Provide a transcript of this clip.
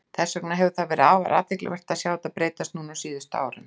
Þess vegna hefur verið afar athyglisvert að sjá þetta breytast núna á síðustu árum.